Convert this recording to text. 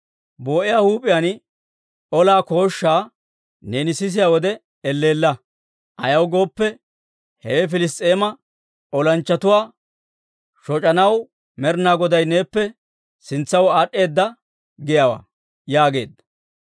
Boo'iyaa huup'iyaan olaa kooshshaa neeni sisiyaa wode elleella. Ayaw gooppe, hewe Piliss's'eema olanchchatuwaa shoc'anaw Med'inaa Goday neeppe sintsaw aad'd'eedda giyaawaa» yaageedda.